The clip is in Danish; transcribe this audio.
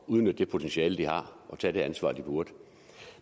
udnytte det potentiale de har og tage det ansvar de burde